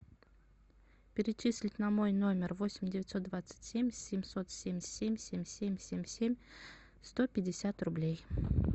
перечислить на мой номер восемь девятьсот двадцать семь семьсот семьдесят семь семь семь семь семь сто пятьдесят рублей